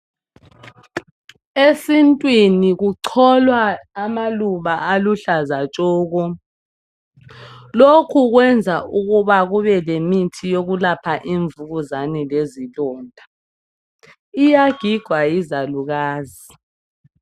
Esintwini kucholwa amaluba aluhlaza tshoko, lokhu kwenza ukuba kube lemithi yokulapha imvukuzane lezilonda. Iyagigwa yizalukazi.